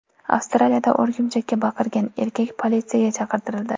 Avstraliyada o‘rgimchakka baqirgan erkak politsiyaga chaqirtirildi.